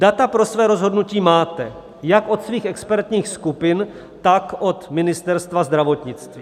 Data pro své rozhodnutí máte jak od svých expertních skupin, tak od Ministerstva zdravotnictví.